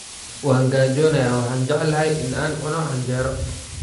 Waan gaajoonayaa, waxaan jeclahay in aan cuno canjeero.